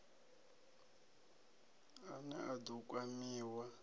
a ne a ḓo kwamiwa